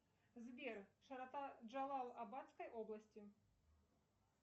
сбер широта джалал абадской области